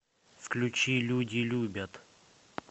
включи люди любят